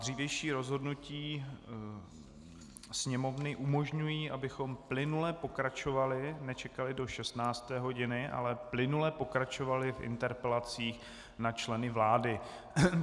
Dřívější rozhodnutí Sněmovny umožňují, abychom plynule pokračovali, nečekali do 16. hodiny, ale plynule pokračovali v interpelacích na členy vlády.